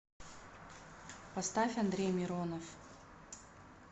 поставь андрей миронов